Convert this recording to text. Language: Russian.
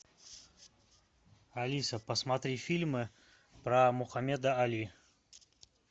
алиса посмотри фильмы про мухаммеда али